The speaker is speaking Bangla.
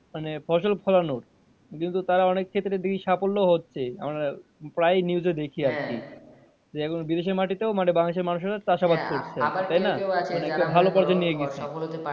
মানে ফসল ফলানোর কিন্তু তারা অনেক ক্ষেত্রে দেখি সাফল্য ও হচ্ছে আমরা প্রায়ই news এ দেখি আরকি যে এখন বিদেশের মাটিতেও বাংলাদেশের মানুষেরা চাষাবাদ করছে তাইনা অনেকে ভালো